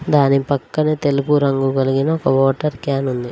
దాని పక్కన తెలుపు రంగు కలిగిన ఒక వాటర్ క్యాన్ ఉంది.